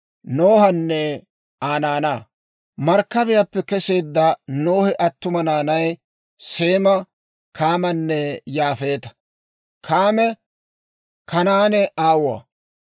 Markkabiyaappe keseedda Nohe attuma naanay Seema, Kaamanne Yaafeeta; Kaame Kanaane aawuwaa.